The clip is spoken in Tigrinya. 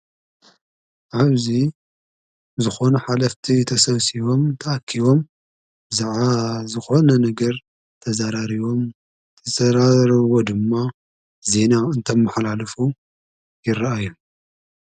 አብዚ ዝኾኑ ሓለፍቲ ተሰብሱቦም ተአኪቦም ብዛዕባ ዝኾነ ነገር ተዘራሪቦም። ዝተዘራረብዎ ድማ ዜና እንተመሓላልፉ ይረአዩ።